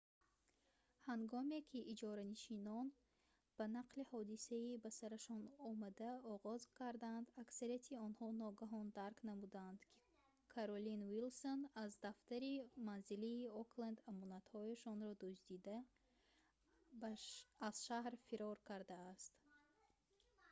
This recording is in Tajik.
ҳангоме ки иҷоранишинон ба нақли ҳодисаи ба сарашон омада оғоз карданд аксарияти онҳо ногаҳон дарк намуданд ки каролин уилсон аз дафтари манзилии окленд амонатҳояшонро дуздида аз шаҳр фирор кардааст